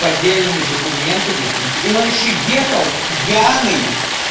поддельными документами и и он ещё ехал пьяный